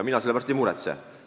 Mina selle pärast ei muretse.